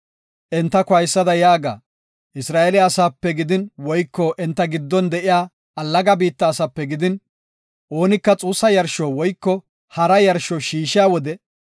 “Entako haysada yaaga; Isra7eele asaape gidin woyko enta giddon de7iya allaga biitta asape gidin, oonika xuussa yarsho woyko hara yarsho shiishiya wode,